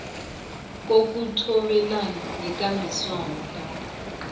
kokuthobelana yikambiso lapho